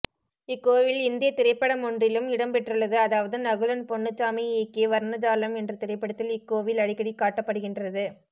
இக்கோவில் இந்தியத்திரைப்படமோன்றிலும் இடம்பெற்றுள்ளது அதாவது நகுலன் போன்னுச்சாமி இயக்கிய வர்ணஜாலம் என்ற திரைப்படத்தில் இக்கோவில் அடிக்கடி காட்டப்படுகின்றது